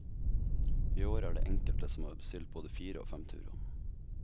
I år er det enkelte som har bestilt både fire og fem turer.